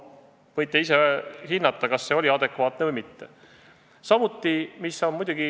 Võite ise hinnata, kas see oli adekvaatne või mitte.